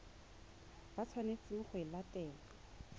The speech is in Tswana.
ba tshwanetseng go e latela